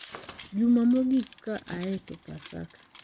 Juma mogik ka aye to Paska,